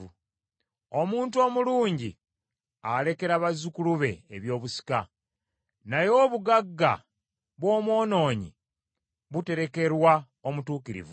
Omuntu omulungi alekera bazzukulu be ebyobusika, naye obugagga bw’omwonoonyi buterekerwa omutuukirivu.